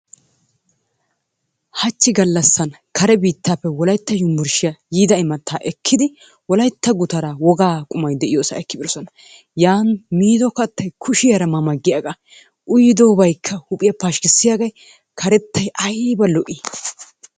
Hachchi galassan kare biittappe wolaytta yunburshshiyaa yiidda imatta ekidi wolaytta guttara wogaa qummay diyoossa ekkbidossona. Yaani miido kaattay kushshiyara ma ma giyagga uyidobaykka huuphiyaa pashkissiyage karettay ayiiba lo'i!